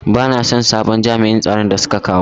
Bana son sabon jami'in tsaron da suka kawo.